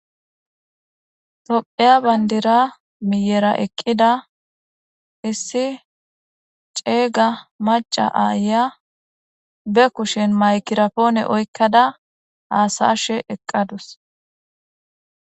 Topheya bayndira miyera eqqida issi ceeyga maca aaya be kushen maykirapoone oykkada haasashe eqqadus.